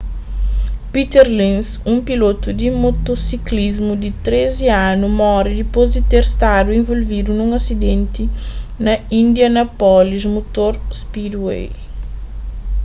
peter lenz un pilotu di motosiklismu di 13 anu móre dipôs di ter stadu involvidu nun asidenti na indianapolis motor speedway